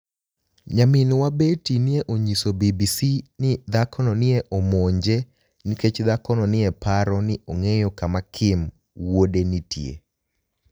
niyaminiwa Betty ni e oniyiso BBC nii dhakono ni e omonije niikech dhakono ni e paro nii onig'eyo kama Kim wuode niitie.